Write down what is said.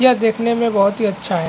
यह देखने में बहोत ही अच्छा है।